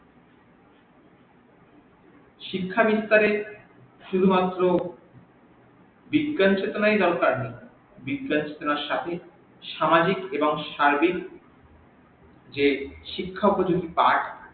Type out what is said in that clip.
শিক্ষা বিস্তারে শুধু মাত্র বিজ্ঞান চেতনাই দরকার বিজ্ঞান চেতনার সাথে সামাজিক এবং সার্বিক যে শিক্ষা